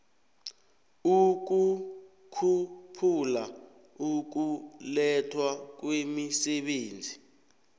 ukukhuphula ukulethwa kwemisebenzi